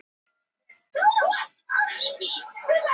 Renndi augunum út í sundlaugina.